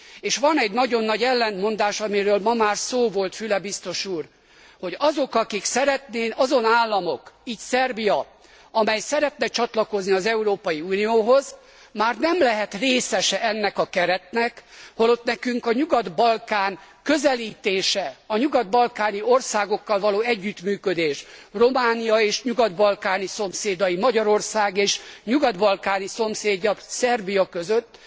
és van egy nagyon nagy ellentmondás, amiről ma már szó volt, Füle biztos úr hogy azon államok, így Szerbia, amely szeretne csatlakozni az Európai Unióhoz, már nem lehet részese ennek a keretnek, holott nekünk a Nyugat Balkán közelítése, a nyugat balkáni országokkal való együttműködés, Románia és nyugat balkáni szomszédai, Magyarország és nyugat balkáni szomszédja, Szerbia között